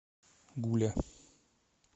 гуля